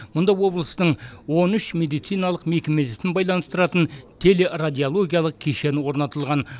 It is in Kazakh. мұнда облыстың он үш медициналық мекемесін байланыстыратын телерадиологиялық кешені орнатылған